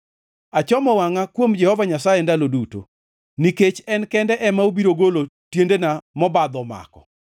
Achomo wangʼa kuom Jehova Nyasaye ndalo duto, nikech en kende ema obiro golo tiendena mobadho omako.